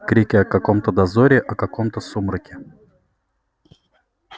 крики о каком-то дозоре о каком-то сумраке